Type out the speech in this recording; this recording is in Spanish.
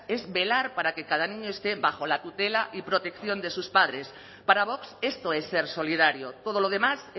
es velar para que cada niño esté bajo la tutela y protección de sus padres para vox esto es ser solidario todo lo demás